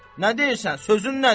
Nə deyirsən, sözün nədir?